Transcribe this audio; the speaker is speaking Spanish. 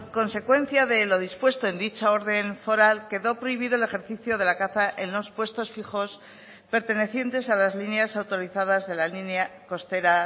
consecuencia de lo dispuesto en dicha orden foral quedó prohibido el ejercicio de la caza en los puestos fijos pertenecientes a las líneas autorizadas de la línea costera